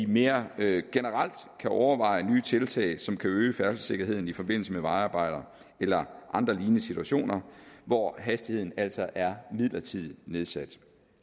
mere generelt kan overveje nye tiltag som kan øge færdselssikkerheden i forbindelse med vejarbejder eller andre lignende situationer hvor hastigheden altså er midlertidigt nedsat